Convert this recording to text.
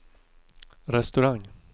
restaurang